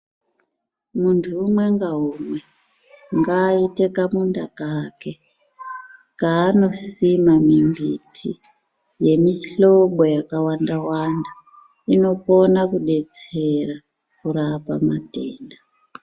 Munthu umwe ngaumwe ngaaite kamunda kake kaanosima mimbiti yemihlobo yakawanda wanda inokone kudetsera kurape matenda .